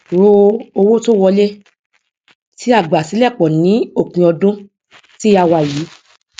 ro owó tó wọlé tí a gbà silẹ pọ ní òpin ọdún tí a wà yìí